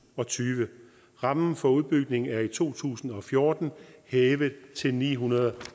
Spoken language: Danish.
og tyve rammen for udbygning er i to tusind og fjorten hævet til ni hundrede